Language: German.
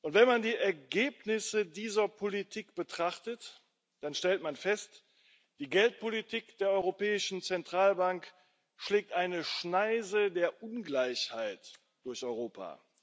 Wenn man die Ergebnisse dieser Politik betrachtet, dann stellt man fest Die Geldpolitik der Europäischen Zentralbank schlägt eine Schneise der Ungleichheit durch Europa.